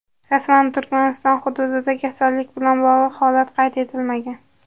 Rasman Turkmaniston hududida kasallik bilan bog‘liq holat qayd etilmagan.